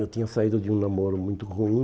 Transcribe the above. Eu tinha saído de um namoro muito ruim.